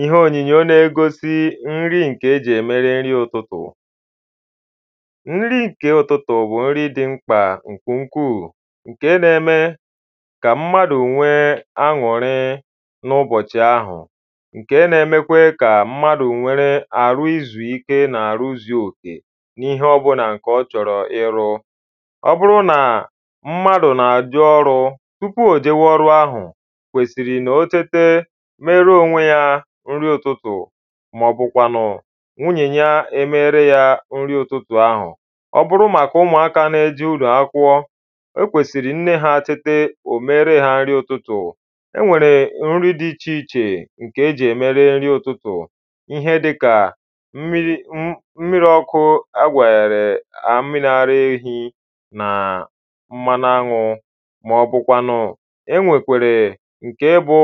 ihe ònyinyo na-egosi nri nke eji emere nri ụtụtụ nri nke ụtụtụ bụ nri dị mkpa nke ukwuu nke n’eme ka mmadụ nwee aṅụrị n’ụbọchị ahụ nke nemekwe ka mmadụ nʷere ahụ siri ike na ahụ zuru oke n’ihe ọbụlà ǹkè ọ́ chọrọ ịlụ Ọ bụrụ na mmadụ n’èjè ọlụ̀ tupu òjewe ọrụ̀ ahụ̀ okwesiri kà òtete mere onwe ya nri ụtụtụ màọ̀bụ kwanụ̀ nwunyè ya emere ya nri ụtụtụ ahụ̀ ọ bụrụ màka ụmụaka n’eje ụlọ́ákwụkwo okwesìrì nne ha tete ò mere ha nri ụtụtụ e nwere nri dị ichéíche ǹkè èji eme nri ụtụtụ ihe dịka mmirī ọ̄kụ egwere mmirì àrà èhi na mmanụ aṅụ̀ maọbụkwanụ enwekwere nke bụ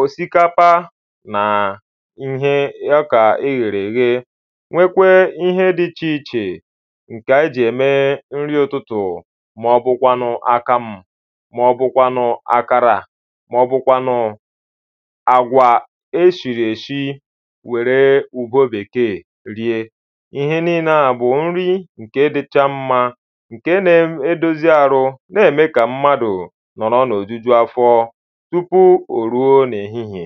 osikapa na ọka eghere eghe nwekwee ihe dị ichéíchē ǹke ànyị ji ème nri ụtụtụ màọ̀bụkwànụ̀ àkàmụ̀ màọ̀bụ̀kwànụ̀ àkàrà màọ̀bụ̀kwànụ̀ àgwà eshirēshi werē ugwo bekee rie ihe ninnē ā bụ̀ nri ǹke dịcha mmā ǹke nedòzì arụ n’eme kà mmadụ̀ nọrọ n’òjùjù afọ̀ tupu ò rùo n’ehihiè